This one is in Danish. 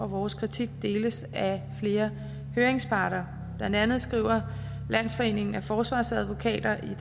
vores kritik deles af flere høringsparter blandt andet skriver landsforeningen af forsvarsadvokater i